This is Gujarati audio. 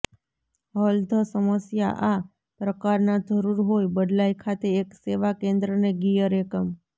હલ ધ સમસ્યા આ પ્રકારના જરૂર હોઈ બદલાઈ ખાતે એક સેવા કેન્દ્રને ગિયર એકમ